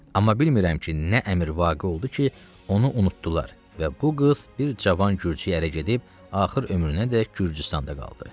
Amma bilmirəm ki, nə əmr vaqe oldu ki, onu unutdular və bu qız bir cavan Gürcüyə ərə gedib axır ömrünədək Gürcüstanda qaldı.